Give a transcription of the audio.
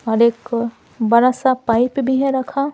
और एक बड़ा सा पाइप भी है रखा--